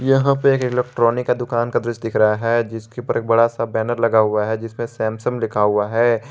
यहां पे एक इलेक्ट्रॉनिक का दुकान का दृश्य दिख रहा है जिसके पर एक बड़ा सा बैनर लगा हुआ है जिसमें सैमसंग लिखा हुआ है।